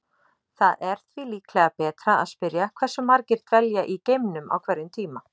Það er því líklega betra að spyrja hversu margir dvelja í geimnum á hverjum tíma.